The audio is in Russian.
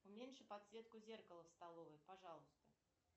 уменьши подсветку зеркала в столовой пожалуйста